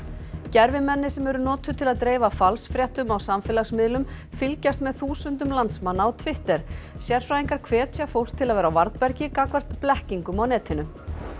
Gervimenni sem eru notuð til að dreifa falsfréttum á samfélagsmiðlum fylgjast með þúsundum landsmanna á Twitter sérfræðingar hvetja fólk til að vera á varðbergi gagnvart blekkingum á netinu